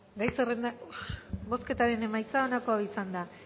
bozketaren emaitza onako izan da